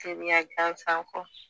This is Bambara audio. Teriya gansan kɔ.